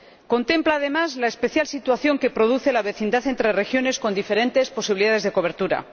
Contempla además la especial situación que produce la vecindad entre regiones con diferentes posibilidades de cobertura.